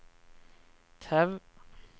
Tau